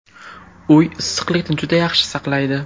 Uy issiqlikni juda yaxshi saqlaydi.